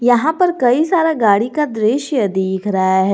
यहां पर कई सारा गाड़ी का दृश्य दिख रहा है।